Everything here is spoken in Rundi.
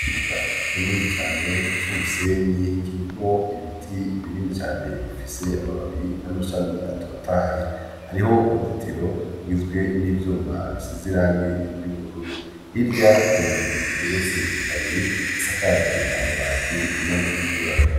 Ikibuga kinini cane cy'umusenyi kirimwo ibiti binini cane bifise amababi n'amashami atotaye, hariho uruzitiro rwizwe n'ivyuma bisize irangi ry'ubururu irya harenzo igeretse ikabiri isakaje amabati n'amategura.